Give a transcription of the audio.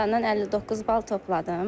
İmtahandan 59 bal topladım.